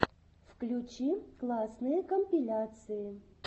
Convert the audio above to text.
включи классные компиляции